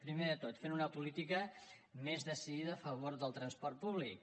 primer de tot fent una política més decidida a favor del transport públic